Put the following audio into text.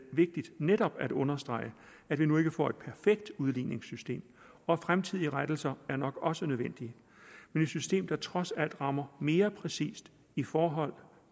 vigtigt netop at understrege at vi nu ikke får et perfekt udligningssystem og fremtidige rettelser er nok også nødvendige men et system der trods alt rammer mere præcist i forhold